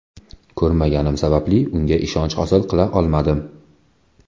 Ko‘rmaganim sababli unga ishonch hosil qila olmadim.